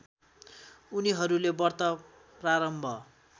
उनीहरूले व्रत प्रारम्भ